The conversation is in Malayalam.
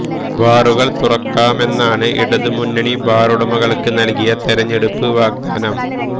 ബാറുകള് തുറക്കാമെന്നാണ് ഇടതു മുന്നണി ബാറുടമകള്ക്ക് നല്കിയ തെരഞ്ഞെടുപ്പ് വിഗ്ദാനം